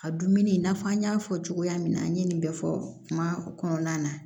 A dumuni i n'a fɔ an y'a fɔ cogoya min na an ye nin bɛɛ fɔ kuma kɔnɔna na